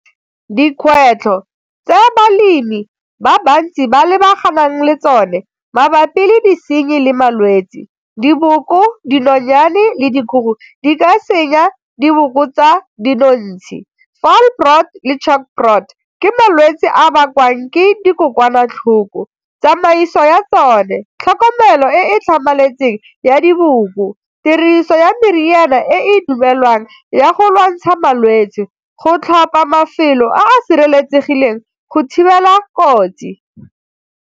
Dikgwetlho tse balemi ba bantsi ba lebaganeng le tsone mabapi le disenyi le malwetsi, diboko, dinonyane, le dikgogo di ka senya di diboko tsa dinontshi, foulbrood le chalkbrood ke malwetse a a bakwang ke dikokwanatlhoko, tsamaiso ya tsone, tlhokomelo e e tlhamaletseng ya diboko, tiriso ya meriana e dumelwang ya go lwantsha malwetse, go tlhopa mafelo a a sireletsegileng go thibela kotsi.